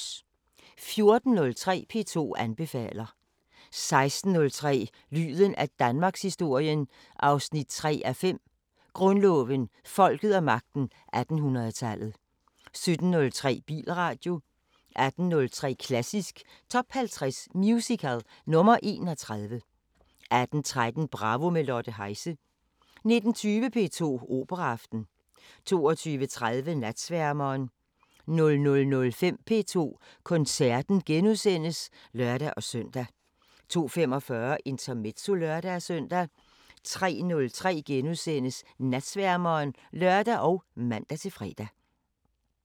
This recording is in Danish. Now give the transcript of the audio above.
14:03: P2 anbefaler 16:03: Lyden af Danmarkshistorien 3:5 – Grundloven, folket og magten 1800-tallet 17:03: Bilradio 18:03: Klassisk Top 50 Musical – nr. 31 18:13: Bravo – med Lotte Heise 19:20: P2 Operaaften 22:30: Natsværmeren 00:05: P2 Koncerten *(lør-søn) 02:45: Intermezzo (lør-søn) 03:03: Natsværmeren *(lør og man-fre)